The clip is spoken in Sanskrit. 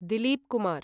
दिलीप् कुमार्